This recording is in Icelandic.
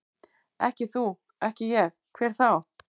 Ekki þú, ekki ég, hver þá?